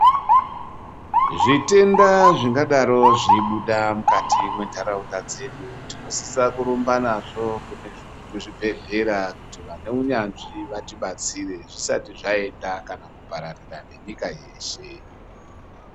Zvitenda zvingadaro zveibuda mukati mwentaraunda dzedu tinosisa kurumba nazvo kuzvibhehlera kuti vane unyanzi vatibatsire zvisati zvaenda kana kupararira nenyika yeshe.